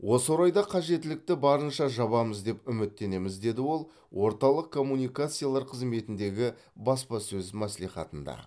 осы орайда қажеттілікті барынша жабамыз деп үміттенеміз деді ол орталық коммуникациялар қызметіндегі баспасөз мәслихатында